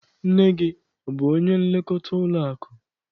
Nne gị, ọ bụ onye nlekọta ụlọakụ?